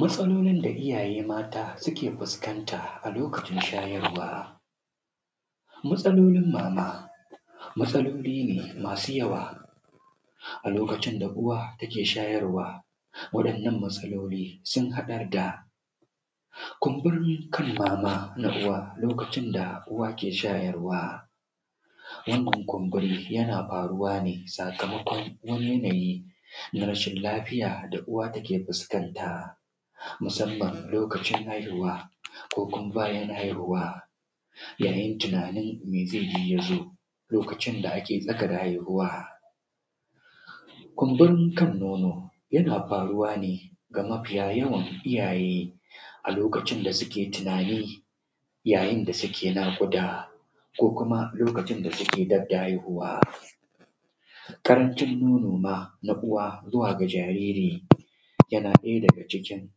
Matsalolin da iyaye mata suke fuskanta a lokacin shayarwa. Matsalolin masu yawa a lokacin da uwa take shayarwa wannan matsaloli sun haɗa da kunburin kan mama na uwa lokacin da uwa ke shayarwa, wannan kunburi yana faruwa ne sakamakon wani mai rashin lafiya da uwa take fuskanta musamman lokacin haihuwa ko kuma bayan haihuwa, yayin tunanin me ze faru ya zo lokacin da ake tsaka da haihuwa. Kumfurin kan nono yana faruwa ne da mafiyayawan iyaye a lokacin da suke tunani yayin da suke naƙuda ko kuma lokacin da suke ganda haihuwa, ƙaranci nono na uwa zuwa ga jariri yana ɗaya daga cikin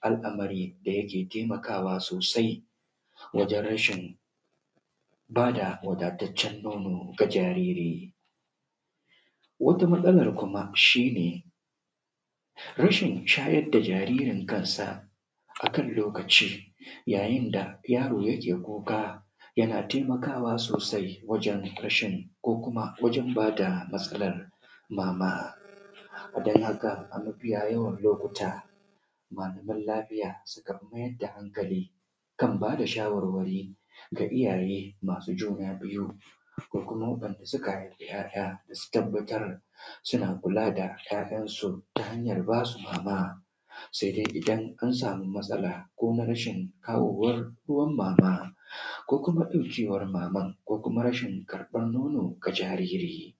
al’amari da yake taimakawa sosai wajen rashin ba da wadataccen nono ga jariri, wata matsalar kuma shi ne rashin shayar da jaririnka a kan lokaci yayin da yaro yake kuka, yana taimakawa sosai wajen rashin ko kuma wajen ba da matsalar mama dan haka a mafiyayawan lokuta malaman lafiya suke mai da hankali kan ba da shawarwari ga iyaye masu juna biyu da kuma waɗanda suka haifi ‘ya’ya su tabbatr suna kula da ‘ya’yansu ta hanyan ba su mama. Se dai idan an samu matsala ko rashin kawowar ruwan mama ko kuma ƙanƙancewa mama ko kuma rashin karɓan nono ga jariri.